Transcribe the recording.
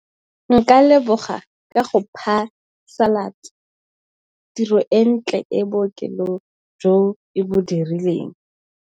Nka leboga ka go phasalatsa tiro e ntle ko bookelong jo e bo dirileng.